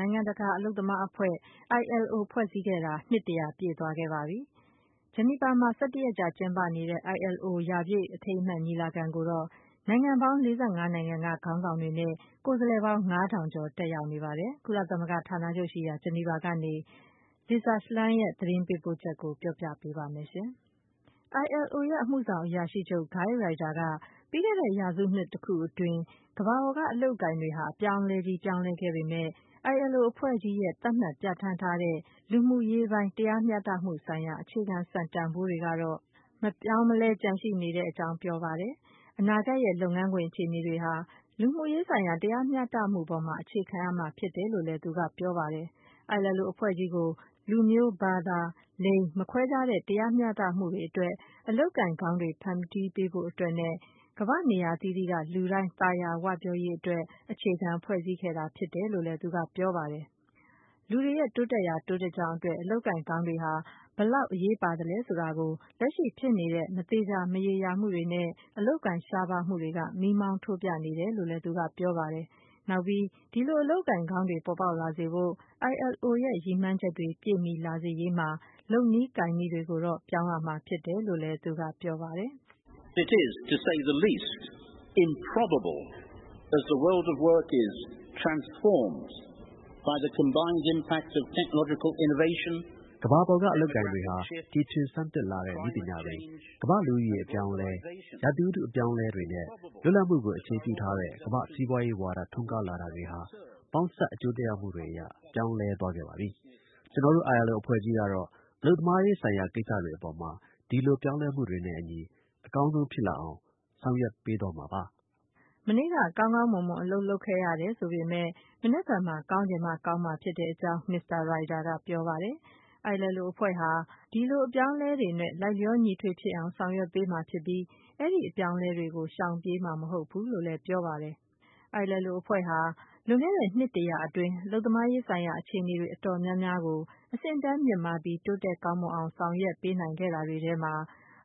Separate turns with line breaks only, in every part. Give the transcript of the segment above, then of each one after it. နိုင်ငံတကာ အလုပ်သမားအဖွဲ့ ILO ဖွဲ့စည်းခဲ့တာ နှစ် ၁၀၀ ပြည့်သွားခဲ့ပါပြီ။ ဂျနီဗာမှာ ၁၁ ရက်ကြာ ကျင်းပနေတဲ့ ILO ရာပြည့်အထိမ်းအမှတ် ညီလာခံကိုတော့ နိုင်ငံပေါင်း ၄၅ နိုင်ငံက ခေါင်းဆောင်တွေနဲ့ ကိုယ်စားလှယ်ပေါင်း ၅ ထောင်ကျော် တက်ရောက်နေပါတယ်။ ကုလသမဂ္ဂ ဌာနချုပ်ရှိရာ ဂျနီဗာကနေ Lisa Schlein ရဲ့ သတင်းပေးပို့ချက်ကို မခွာညိုက ပြောပြပေးပါ့မယ်။ ILO ရဲ့ အမှုဆောင်အရာရှိချုပ် Guy Ryder က - ပြီးခဲ့တဲ့ ရာစုတစုအတွင်း ကမ္ဘာပေါ်က အလုပ်အကိုင်တွေဟာ အပြောင်းလဲကြီး ပြောင်းလဲခဲ့ ပေမယ့် ILO အဖွဲ့ကြီးရဲ့ သတ်မှတ်ပြဌာန်းထားတဲ့ လူမှုရေးပိုင်း တရားမျှတမှုဆိုင်ရာ အခြေခံ စံတန်ဖိုးတွေကတော့ မပြောင်းမလဲ ကျန်ရှိ နေ ကြောင်း ပြောပါတယ်။ အနာဂတ်ရဲ့ လုပ်ငန်းခွင်အခြေအနေတွေဟာ လူမှုရေးဆိုင်ရာ တရားမျှတမှုပေါ်မှာ အခြေခံရမှာဖြစ်တယ်လို့လည်း သူက ပြောပါတယ်။ ILO အဖွဲ့ကြီးကို လူမျိုး ဘာသာ လိင် မခွဲခြားတဲ့ မျှတမှုတွေအတွက်၊ အလုပ်အကိုင်ကောင်းတွေ ဖန်တီးပေးဖို့အတွက်နဲ့ ကမ္ဘာ့နေရာ အသီးသီးက လူတိုင်း သာယာ ဝပြောရေးအတွက် အခြေခံဖွဲ့စည်းခဲ့တာဖြစ်ကြောင်းလည်း သူက ပြောပါတယ်။ လူတွေရဲ့ တိုးတက်ရာတိုးတက်ကြောင်းအတွက် အလုပ်အကိုင်ကောင်းတွေဟာ ဘယ်လောက် အရေးပါသလဲဆိုတာကို လက်ရှိဖြစ်နေတဲ့ မသေချာ မရေရာမှုတွေနဲ့ အလုပ်အကိုင်ရှားပါးမှုတွေက မီးမောင်းထိုးပြနေတယ်လို့လည်း သူက ပြောပါတယ်။ နောက်ပြီး ဒီလို အလုပ်အကိုင် ကောင်းတွေ ပေါ် ပေါက်လာစေဖို့ ILO ရဲ့ ရည်မှန်းချက်တွေ ပြည့်မီလာစေရေးမှာ လုပ်နည်းကိုင်နည်းတွေကိုတော့ ပြောင်းရမှာ ဖြစ်တယ်လို့လည်း သူက ဆက်ပြောပါတယ်။ “ကမ္ဘာ
ပေါ်က အလုပ်အကိုင်တွေဟာ တီထွင်ဆန်းသစ်လာတဲ့ နည်းပညာတွေ၊ ကမ္ဘာ့လူဦးရေ အပြောင်းအလဲ၊ ရာသီဥတုအပြောင်းအလဲတွေနဲ့ လွတ်လပ်မှု ကို အခြေပြုထားတဲ့ ကမ္ဘာ့စီးပွားရေးဝါဒ ထွန်းကားလာတာတွေဟာ ပေါင်းစပ်အကျိုးသက်ရောက်မှုတွေအရ ပြောင်းလဲသွားခဲ့ပါပြီ။ ကျနော်တို့ ILO အဖွဲ့ကြီးကတော့ အလုပ်သမားရေးဆိုင်ရာ ကိစ္စတွေအပေါ် ဒီလို ပြောင်းလဲမှုတွေနဲ့အညီ အကောင်းဆုံး ဖြစ်လာအောင် ဆောင်ရွက်ပေးသွားမှာပါ။
” မနေ့က ကောင်းကောင်းမွန်မွန်အလုပ်လုပ်ခဲ့ရတယ်ဆိုပေမယ့် မနက်ဖြန်မှာ ကောင်းချင်မှကောင်းမှာဖြစ်ကြောင်း မစ္စတာ Ryder က ပြောပါတယ်။ ဒါ့အပြင် ILO ကတော့ အဲဒီလို အပြောင်းအလဲတွေနဲ့ လိုက်လျောညီထွေဖြစ်အောင် ဆောင်ရွက်ပေးမှာဖြစ်ပြီး အဲဒီအပြောင်းအလဲတွေကို ရှောင်ပြေးမှာ မဟုတ်ဘူး လို့လည်း ပြောပါတယ်။ ILO အဖွဲ့ဟာ လွန်ခဲ့တဲ့ နှစ်တရာအတွင်း အလုပ်သမားရေးဆိုင်ရာအခြေအနေတွေအတော်များများကို အဆင့်အတန်းမြင့်မားပြီး တိုးတက် ကောင်းမွန် အောင် ဆောင်ရွက်ပေးနိုင်ခဲ့တာတွေထဲမှာ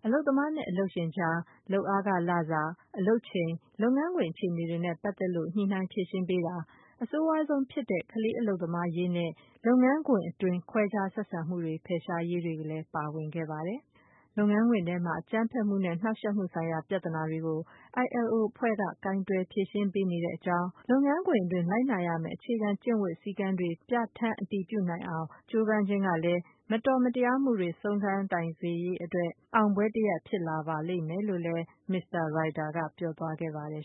အလုပ်သမားနဲ့အလုပ်ရှင်ကြား လုပ်အားခလစာ၊ အလုပ်ချိန်၊ လုပ်ငန်းခွင်အခြေအနေ တွေနဲ့ ပတ်သက်လို့ ညှိနှိုင်းဖြေရှင်းပေးတာ၊ အဆိုးဝါးဆုံးဖြစ်တဲ့ ကလေးအလုပ်သမားရေးနဲ့ လုပ်ငန်းခွင်အတွင်း ခွဲခြားဆက်ဆံမှုတွေကို ဖယ်ရှားရေးတွေလည်း ပါဝင်ပါတယ်။ လုပ်ငန်းခွင်ထဲမှာ အကြမ်းဖက်မှုနဲ့ နှောက်ယှက်မှုဆိုင်ရာ ပြဿနာတွေကို ILO အဖွဲ့က ကိုင်တွယ်ဖြေရှင်းပေးနေကြောင်း၊ လုပ်ငန်းခွင်တွင်း လိုက်နာရ မယ့် အခြေခံကျင့်ဝတ်စည်းကမ်းတွေ ပြဌာန်းအတည်ပြုနိုင်အောင် အားထုတ်ကြိုးပမ်းခြင်းနေတာလည်း မတော်မတရားမှုတွေကို ဆုံးခန်းတိုင်စေရေး အတွက် အောင်ပွဲတရပ်ဖြစ်လာပါလိမ့်မယ်လို့လည်း မစ္စတာ Ryder က ပြောသွားခဲ့ပါတယ်